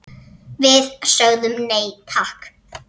Við sögðum nei, takk!